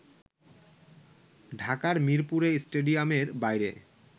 ঢাকার মীরপুরে স্টেডিয়ামের বাইরে